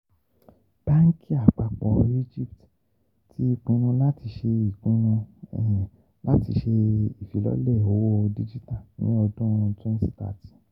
Banki apapo Egypt ti pinnu lati ṣe pinnu lati ṣe ifilọlẹ owo dijita ni odun twenty thirty 30